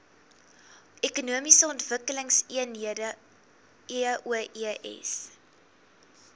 ekonomiese ontwikkelingseenhede eoes